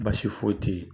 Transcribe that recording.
Baasi foyi tɛ yen